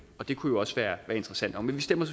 og det kunne også være interessant men vi stemmer